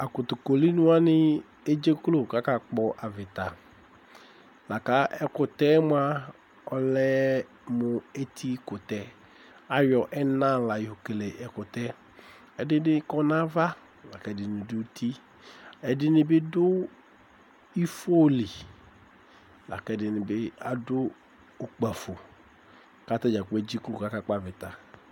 Akotokoliniwani edzeklo ku akakpɔ avita La ka ɛkutɛ yɛ mua ɔlɛ mu etikutɛ Ayɔ ɛna la kele ɛkutɛ yɛ Ɛdini kɔ nu ava la ku ɛdini du uti Ɛdini bi du ifo li la ku ɛdini bi adu ukpafo ku atadzagblo edzeklo ku akakpɔ avita